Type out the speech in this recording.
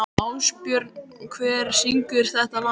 Ásbjörn, hver syngur þetta lag?